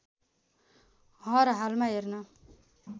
हर हालमा हेर्न